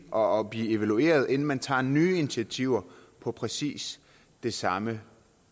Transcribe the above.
og blive evalueret inden man tager nye initiativer på præcis det samme